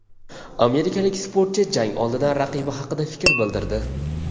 Amerikalik sportchi jang oldidan raqibi haqida fikr bildirdi .